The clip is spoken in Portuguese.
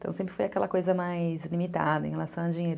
Então sempre foi aquela coisa mais limitada em relação ao dinheiro.